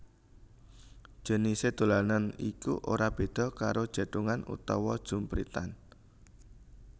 Jenisé dolanan iki ora béda karo jèthungan utawa jumpritan